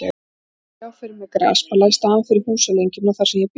Ég reyndi að sjá fyrir mér grasbala í staðinn fyrir húsalengjuna þar sem ég bjó.